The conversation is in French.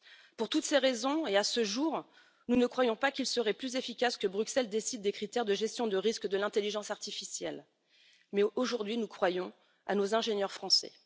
Pour toutes ces raisons et à ce jour, nous ne croyons pas qu'il serait plus efficace que Bruxelles décide des critères de gestion de risque de l'intelligence artificielle, mais nous croyons, en revanche, en nos ingénieurs français.